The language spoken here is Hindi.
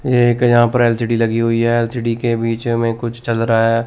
ये एक यहां पर एल_सी_डी लगी हुई है एल_सी_डी के बीचे में कुछ चल रहा है।